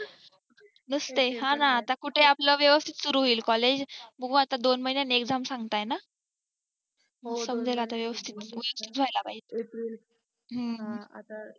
मस्त आहे न आता कुठे आपलं व्यवस्थित सुरू होईल collage बघू आता दोन महिन्यात exam संपताय ना हो समजेल आता व्यवस्थीत